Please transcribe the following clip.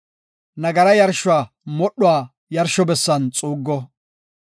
Nagara yarshuwa modhuwa yarsho bessan xuuggo.